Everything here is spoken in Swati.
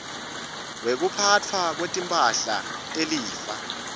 wekuphatfwa kwetimphahla telifa